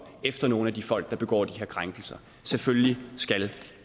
efter nogle af de folk der begår de her krænkelser selvfølgelig skal